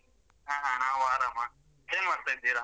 ಹಾ ಹಾ ನಾವು ಆರಾಮ ಏನ್ ಮಾಡ್ತಾ ಇದ್ದೀರಾ?